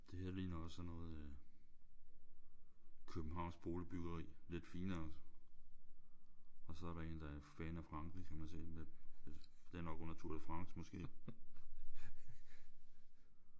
Det her ligner også sådan noget øh københavnsk boligbyggeri. Lidt finere. Og så er der én der er fan af Frankrig kan man se med det er nok under Tour de France måske